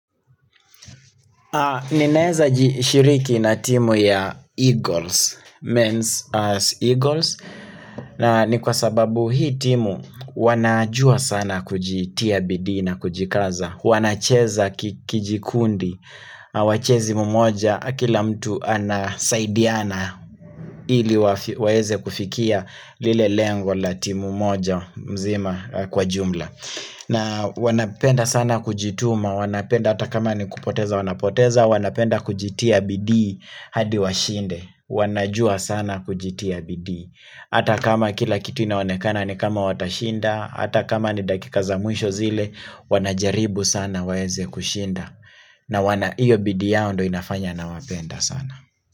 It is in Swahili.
Ninaeza jishiriki na timu ya Eagles, Men's as Eagles, na ni kwa sababu hii timu wanajua sana kujitia bidii na, kujikaza, wanacheza kijikundi, wachezi mmoja, kila mtu anasaidiana ili waweze kufikia lile lengo la timu moja mzima kwa jumla. Na wanapenda sana kujituma wanapenda hata kama ni kupoteza wanapoteza wanapenda kujitia bidii hadi washinde. Wanajua sana kujitia bidii. Hata kama kila kitu inaonekana ni kama watashinda, Hata kama ni dakika za mwisho zile wanajaribu sana waeze kushinda. Naona hiyo bidii yao ndio inafanya nawapenda sana.